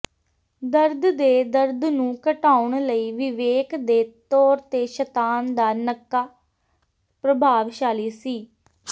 ਦਰਦ ਦੇ ਦਰਦ ਨੂੰ ਘਟਾਉਣ ਲਈ ਵਿਵੇਕ ਦੇ ਤੌਰ ਤੇ ਸ਼ਤਾਨ ਦਾ ਨੱਕਾ ਪ੍ਰਭਾਵਸ਼ਾਲੀ ਸੀ